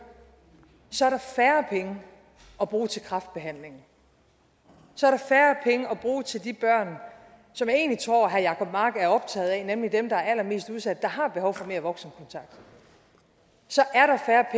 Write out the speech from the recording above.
så er der færre penge at bruge til kræftbehandlingen så er der færre penge at bruge til de børn som jeg egentlig tror herre jacob mark er optaget af nemlig dem der er allermest udsat og har behov for mere voksenkontakt så er der færre